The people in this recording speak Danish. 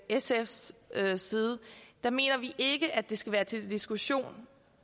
sfs side mener vi ikke at det skal være til diskussion